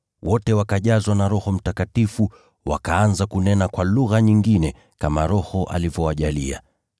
Wote wakajazwa na Roho Mtakatifu, wakaanza kunena kwa lugha nyingine, kama Roho alivyowajalia.